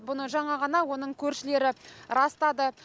бұны жаңа ғана оның көршілері растады